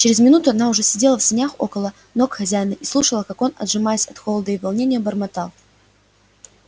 через минуту она уже сидела в санях около ног хозяина и слушала ка он пожимаясь от холода и волнения бормотал